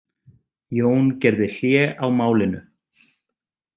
Jón gerði hlé á málinu.